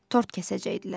Tort kəsəcəkdilər.